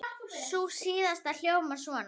Sú síðasta hljómar svona